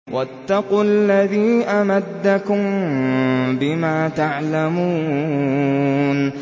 وَاتَّقُوا الَّذِي أَمَدَّكُم بِمَا تَعْلَمُونَ